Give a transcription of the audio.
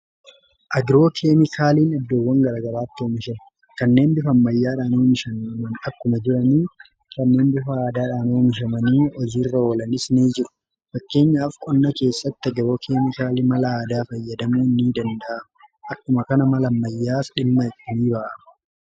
Agroo keemikaaliin iddoowwan gara garaatti oomishama. Kanneen bifa ammayyaadhaan oomishaman akkuma jirani kanneen bifa aadaadhaan oomishamanii hojiirra oolanis ni jiru. Fakkeenyaaf qonna keessatti agroo keemikaaliin mala aadaa fayyadamuu ni danda'ama. Akkuma kana mala ammayyaas dhimma itti ni ba'ama.